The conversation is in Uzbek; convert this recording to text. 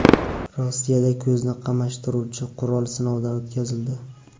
Rossiyada ko‘zni qamashtiruvchi qurol sinovdan o‘tkazildi .